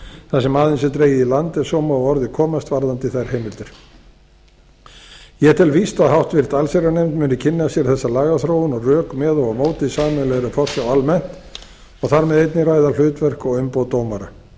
þar sem aðeins er dregið í land ef svo má að orði komast varðandi þær heimildir ég tel víst að háttvirta allsherjarnefnd muni kynna sér þessa lagaþróun og rök með og móti sameiginlegri forsjá almennt og þar með einnig ræða hlutverk og umboð dómara